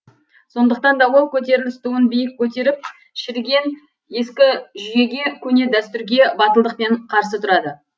сондықтан да ол көтеріліс туын биік көтеріп шіріген ескі жүйеге көне дәстүрге батылдықпен қарсы тұрады